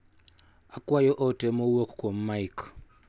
Akwayo ote ma owuok kuom Mike.